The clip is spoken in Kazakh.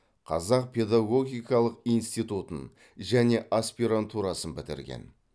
қазақ педагогикалық институтын және аспирантурасын бітірген